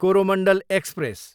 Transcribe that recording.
Coromandel express